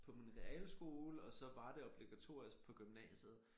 På min realskole og så var det obligatorisk på gymnasiet